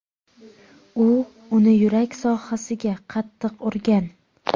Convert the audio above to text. U uni yurak sohasiga qattiq urgan.